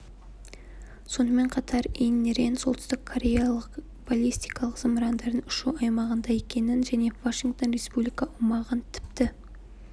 сонымен қатар ин рен солтүстік кореялық баллистикалық зымырандардың ұшу аймағында екенін және вашингтон республика аумағын тіпті